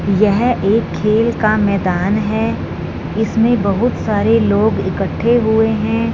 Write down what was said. यह एक खेल का मैदान है इसमें बहोत सारे लोग इकट्ठे हुए हैं।